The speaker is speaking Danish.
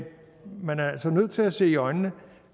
man er altså nødt til at se i øjnene